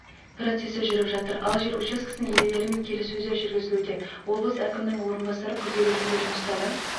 процесі жүріп жатыр ал жер учаскесінің иелерімен келіссөздер жүргізілуде облыс әкімінің орынбасары күрделі жөндеу жұмыстары